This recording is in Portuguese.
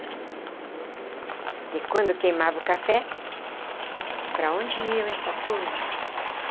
Porque quando queimava o café, para onde iam essa turma?